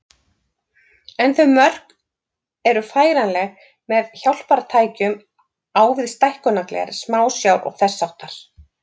En þau mörk eru færanleg með hjálpartækjum á við stækkunargler, smásjár og þess háttar.